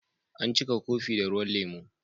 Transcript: An cika kofin da ruwan lemu.